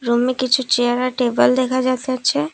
রুমে কিছু চেয়ার আর টেবিল দেখা যাইতাছে।